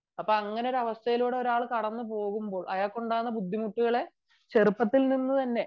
അപ്പോൾ അങ്ങനെ ഒരാവസ്ഥയിലൂടെ ഒരാൾ കടന്നുപോവുമ്പോൾ അയാൾക്കുണ്ടാകുന്ന ബുദ്ധിമുട്ടുകളെ ചെറുപ്പത്തിൽത്തന്നെ